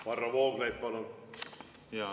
Varro Vooglaid, palun!